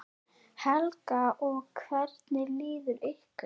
Helga: Og hvernig líður ykkur?